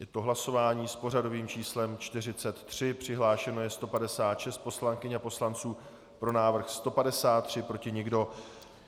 Je to hlasování s pořadovým číslem 43, přihlášeno je 156 poslankyň a poslanců, pro návrh 153, proti nikdo.